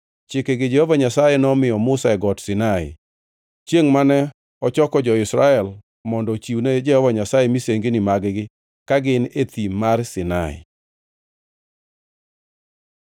Chikegi Jehova Nyasaye nomiyo Musa e Got Sinai, chiengʼ mane ochoko jo-Israel mondo ochiwne Jehova Nyasaye misengini mag-gi, ka gin e Thim mar Sinai.